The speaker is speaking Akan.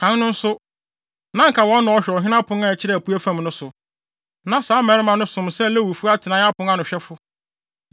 Kan no nso, na anka wɔn na wɔhwɛ ɔhene pon a ɛkyerɛ apuei fam no so. Na saa mmarima no som sɛ Lewifo atenae apon ano ahwɛfo.